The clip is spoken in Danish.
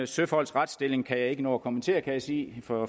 søfolks retsstilling kan jeg ikke nå at kommentere kan jeg se for